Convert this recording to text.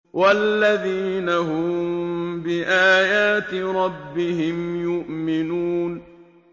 وَالَّذِينَ هُم بِآيَاتِ رَبِّهِمْ يُؤْمِنُونَ